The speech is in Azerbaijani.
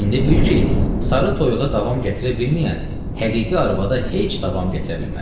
İndi bil ki, sarı toyuğa davam gətirə bilməyən həqiqi arvada heç davam gətirə bilməz.